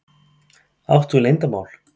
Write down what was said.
Átt þú leyndarmál?